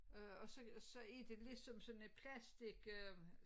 Øh og så og så er det lidt som sådan et plastik øh